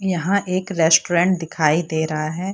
यहाँ एक रेस्टोरेंट दिखाई दे रहे है।